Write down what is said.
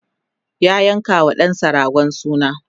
ya yanka wa ɗansa ragon suna